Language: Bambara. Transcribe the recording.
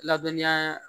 Ladɔniya